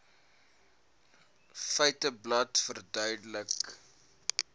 feiteblad verduidelik